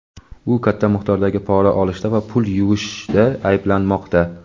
U katta miqdordagi pora olishda va pul "yuvish"da ayblanmoqda.